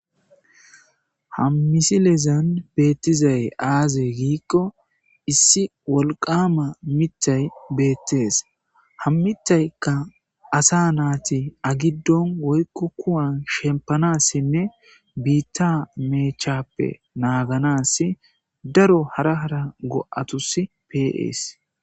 Ha misilezan beetthizay aazee giikko issi wolqqaama miththey beeththees; ha miththaykka asaa naathi agiddon woykko kuwan shemppanaassinne biiththaa meechchaappe naaganaassi daro hara hara go7athussi pee7ees.